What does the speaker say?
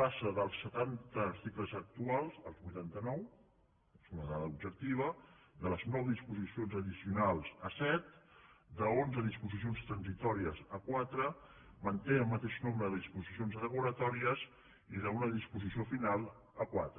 pas·sa dels setanta articles actuals als vuitanta·nou és una dada objectiva de les nou disposicions addici·onals a set d’onze disposicions transitòries a quatre manté el mateix nombre de disposicions derogatòries i d’una disposició final a quatre